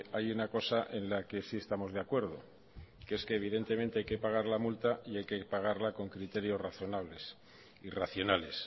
hay una cosa en la que sí estamos de acuerdo que es que evidentemente hay que pagar la multa y hay que pagarla con criterios razonables y racionales